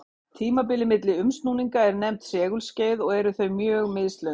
Tímabilið milli umsnúninga er nefnt segulskeið og eru þau mjög mislöng.